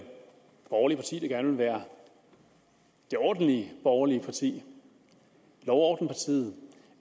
borgerlige parti der gerne vil være det ordentlige borgerlige parti lov og orden partiet